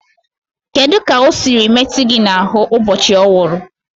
Kedu ka o siri metụ gị n'ahụ ụbọchị ọ nwụrụ?